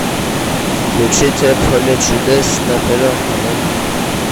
включите поле чудес на первом канале